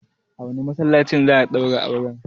A wane masallacin za a daura auren?